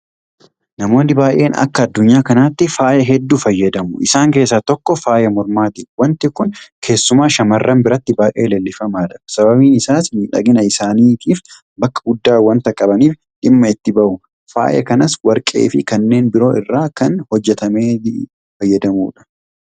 Namoonni baay'een akka addunyaa kanaatti faaya hedduu fayyadamu. Isaan keessaa tokko faaya mormaati. Waanti kun keessumaa shaamarran biratti baay'ee leellifamaadha. Sababiin isaas miidhagina isaaniitiif bakka guddaa waanta qabaniif dhimma itti bahu. Faaya kanas Warqeefi kanneen biroo irraa kan hojjetametti fayyadamu.